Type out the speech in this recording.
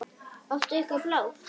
Áttu eitthvað blátt?